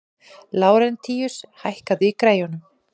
Lárentíus, hækkaðu í græjunum.